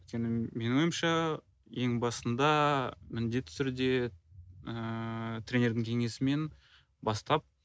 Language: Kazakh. өйткені менің ойымша ең басында міндетті түрде ыыы тренердің кеңесімен бастап